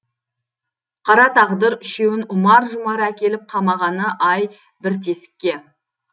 қара тағдыр үшеуін ұмар жұмар әкеліп қамағаны ай бір тесікке